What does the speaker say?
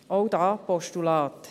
Auch hier: Postulat.